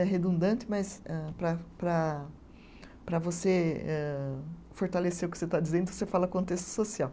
É redundante, mas âh para para para você eh fortalecer o que você está dizendo, você fala contexto social.